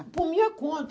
por minha conta.